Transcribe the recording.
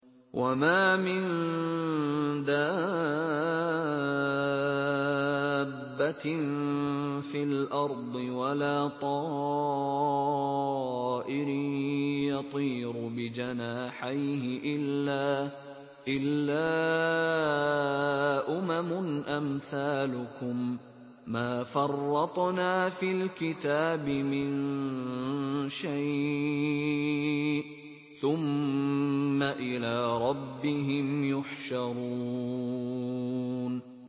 وَمَا مِن دَابَّةٍ فِي الْأَرْضِ وَلَا طَائِرٍ يَطِيرُ بِجَنَاحَيْهِ إِلَّا أُمَمٌ أَمْثَالُكُم ۚ مَّا فَرَّطْنَا فِي الْكِتَابِ مِن شَيْءٍ ۚ ثُمَّ إِلَىٰ رَبِّهِمْ يُحْشَرُونَ